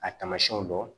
A taamasiyɛnw dɔn